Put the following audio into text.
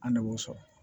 An de b'o sɔrɔ